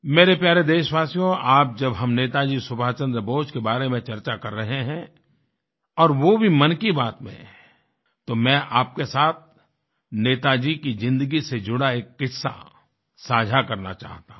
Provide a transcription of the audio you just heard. मेरे प्यारे देशवासियो आज जब हम नेताजी सुभाष चन्द्र बोस के बारे में चर्चा कर रहे हैं और वो भी मन की बातमेंतो मैं आपके साथ नेताजी की जिंदगी से जुड़ा एक किस्सा साझा करना चाहता हूँ